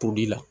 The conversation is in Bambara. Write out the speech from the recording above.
pobili la